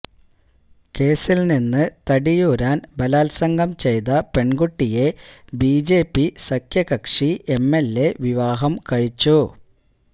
കേസില് നിന്ന് തടിയൂരാന് ബലാത്സംഗം ചെയ്ത പെണ്കുട്ടിയെ ബിജെപി സഖ്യകക്ഷി എംഎൽഎ വിവാഹം കഴിച്ചു